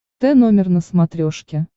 т номер на смотрешке